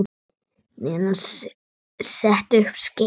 Nína setti upp skeifu.